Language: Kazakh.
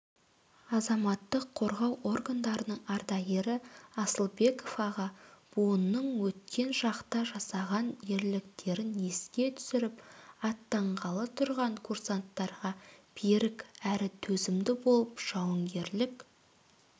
азаматтық қорғау органдарының ардагері асылбеков аға буынның өткен шақта жасаған ерліктерін еске түсіріп аттанғалы тұрған курсанттарға берік әрі төзімді болып жауынгерлік